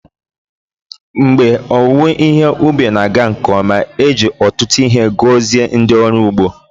Mgbe owuwe ihe ubi na-aga nke ọma, e ji ọtụtụ ihe gọzie ndị ọrụ ugbo